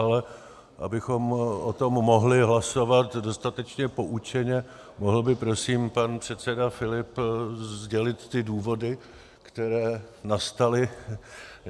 Ale abychom o tom mohli hlasovat dostatečně poučeně, mohl by prosím pan předseda Filip sdělit ty důvody, které nastaly...